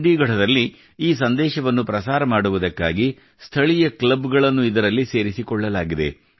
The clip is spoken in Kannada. ಚಂಡೀಗಢದಲ್ಲಿ ಈ ಸಂದೇಶವನ್ನು ಪ್ರಸಾರ ಮಾಡುವುದಕ್ಕಾಗಿ ಸ್ಥಳೀಯ ಕ್ಲಬ್ ಗಳನ್ನು ಇದರಲ್ಲಿ ಸೇರಿಸಿಕೊಳ್ಳಲಾಗಿದೆ